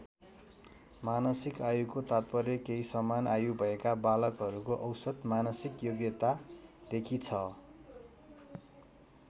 मानसिक आयुको तात्पर्य केही समान आयुभएका बालकहरूको औसत मानसिक योग्यता देखि छ।